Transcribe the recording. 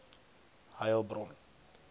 heilbron